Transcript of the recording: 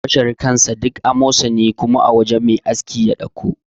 Bashir kansa duk amosani kuma a wajan mai aski ya ɗauko.